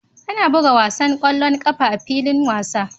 Ana buga wasan ƙwallon ƙafa a filin wasa